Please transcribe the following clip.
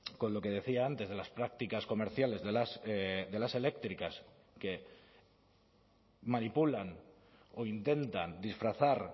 con lo que decía antes de las prácticas comerciales de las eléctricas que manipulan o intentan disfrazar